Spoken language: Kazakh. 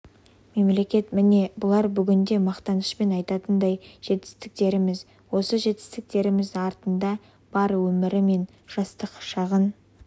мемлекет міне бұлар бүгінде мақтанышпен айтатындай жетістіктеріміз осы жетістіктеріміздің артында бар өімірі мен жастық шағын